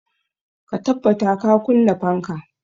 Ka tabbata ka kunna fanka!